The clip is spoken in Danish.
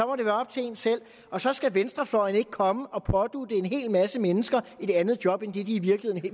må det være op til en selv og så skal venstrefløjen ikke komme og pådutte en hel masse mennesker et andet job end det de i virkeligheden